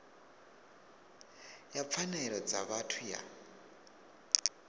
ya pfanelo dza vhathu ya